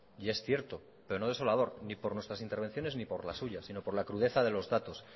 y es cierto pero no desolador ni por nuestras intervenciones ni por las suyas sino por la crudeza de los datos